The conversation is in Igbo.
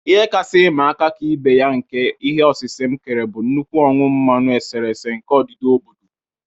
Ihe kasị ịma aka Ka ibe ya nke ihe osise m kere bụ nnukwu ọnụ mmanụ eserese nke odida obodo.